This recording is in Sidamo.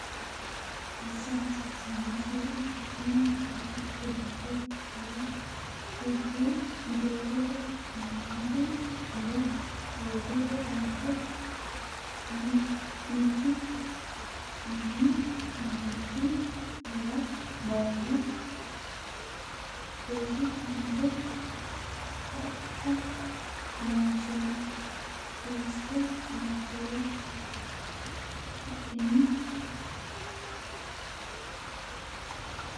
assa hasiissannosiri hakiinni gura, qiniite kawa uurre jeefote kaameelu mule hoogiro ranke MIkkI AMAlA AyIkkI ArrA Barru Rosi Amado Taqa Loonseemmo Suwise Nabbawa Lai’ni?